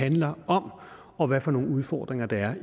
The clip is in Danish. handler om og hvad for nogle udfordringer der